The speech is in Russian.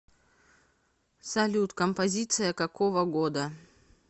салют композиция какого года